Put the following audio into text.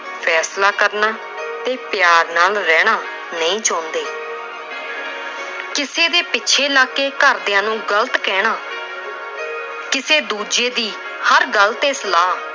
ਫੈਸਲਾ ਕਰਨਾ ਤੇ ਪਿਆਰ ਨਾਲ ਰਹਿਣਾ ਨਹੀਂ ਚਾਹੁੰਦੇ। ਕਿਸੇ ਦੇ ਪਿੱਛੇ ਲੱਗ ਕੇ ਘਰ ਦੀਆਂ ਨੂੰ ਗਲਤ ਕਹਿਣਾ, ਕਿਸੇ ਦੂਜੇ ਦੀ ਹਰ ਗਲ ਤੇ ਸਲਾਹ,